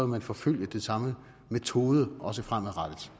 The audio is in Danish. man forfølge den samme metode også fremadrettet